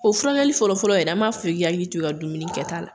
O furankɛli fɔlɔfɔlɔ yɛrɛ , an m'a fɔ i k'i hakili to i ka dumuni kɛ ta la.